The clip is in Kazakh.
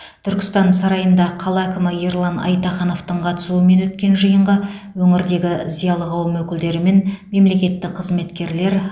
түркістан сарайында қала әкімі ерлан айтахановтың қатысуымен өткен жиынға өңірдегі зиялы қауым өкілдері мен мемлекеттік қызметкерлер